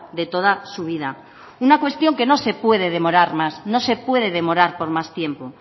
de toda su vida una cuestión que no se puede demorar más no se puede demorar por más tiempo